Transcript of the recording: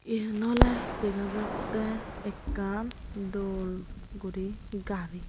iyen oley dega jattey ekkan dol guri gari.